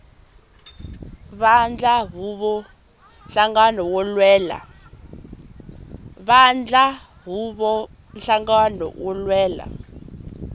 vandla huvo nhlangano wo lwela